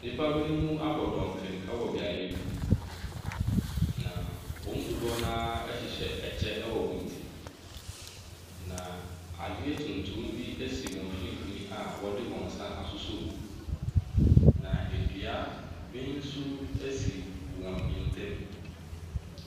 Nnipa binom abɔ fɔmprm wɔ beaeɛ bi. Na wɔn mu dodoɔ no ara hyehyɛ kyɛ wɔ wɔn ti. Na adeɛ tuntum wɔ wɔn mfimfin a wɔde wɔn nsa asosɔ mu. Na dua bi nso si wɔn ntamu.